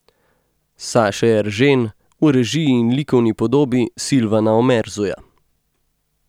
Saše Eržen v režiji in likovni podobi Silvana Omerzuja.